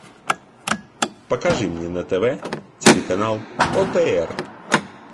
покажи мне на тв телеканал отр